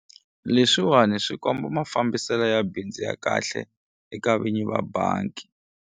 Leswiwani swi komba mafambiselo ya bindzu ya kahle eka vinyi va bangi.